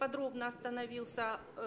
подробно остановился